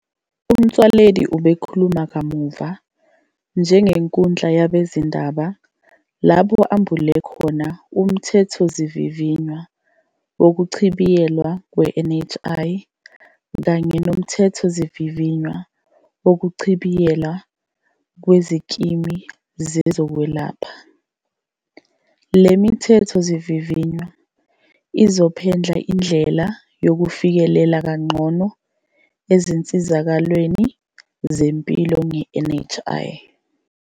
UMotsoaledi ubekhuluma kamuva nje enkundleni yabezindaba lapho ambule khona uMthethosivivinywa wokuchibiyelwa kwe-NHI kanye noMthethosivivinywa Wokuchibiyelwa Kwezikimu Zezokwelapha. Le mithethosivivinywa izophendla indlela yokufikelela kangcono izinsizakalo zempilo nge-NHI.